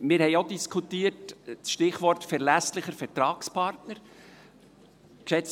Wir haben auch das Stichwort «verlässlicher Vertragspartner» diskutiert.